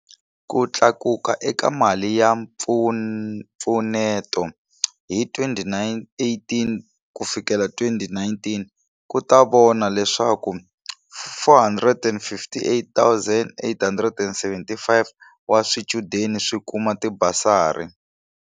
Ku tlakuka eka mali ya mpfuneto hi 2018 ku fikela 19 ku ta vona leswaku 458 875 wa swichudeni swi kuma tibasari.